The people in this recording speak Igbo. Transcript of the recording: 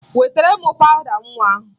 Wetara m pawụda nwa ahụ!